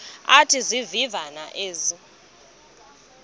athi izivivane ezi